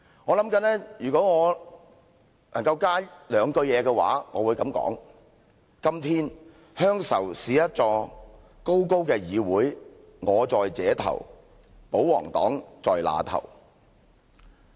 "我在想如果我能在這詩上多加兩句，我會這樣說："今天，鄉愁是一座高高的議會，我在這頭，保皇黨在那頭。